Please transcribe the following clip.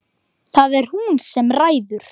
Það er hún sem ræður.